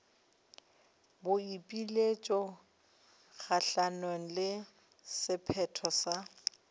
boipiletšo kgahlanong le sephetho sa